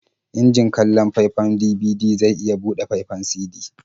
Injin kallon faifan DVD zai iya buɗe faifan CD.